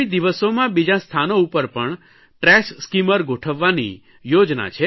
આગામી દિવસોમાં બીજાં સ્થાનો ઉપર પણ ટ્રેશ સ્કીમર ગોઠવવાની યોજના છે